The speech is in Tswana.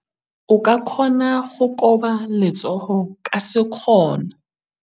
O ka kgona go koba letsogo ka sekgono.